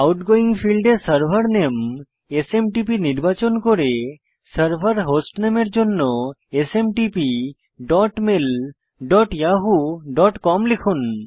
outgoing ফীল্ডে server name SMTP নির্বাচন করে সার্ভার হোস্টনামে এর জন্য smtpmailyahooকম লিখুন